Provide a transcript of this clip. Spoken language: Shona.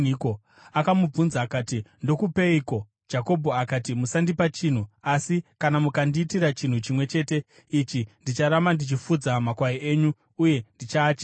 Akamubvunza akati, “Ndokupeiko?” Jakobho akati, “Musandipa chinhu. Asi kana mukandiitira chinhu chimwe chete ichi, ndicharamba ndichifudza makwai enyu uye ndichaachengeta: